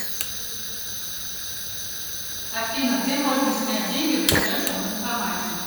афина где можно снять деньги в ближайшем банкомате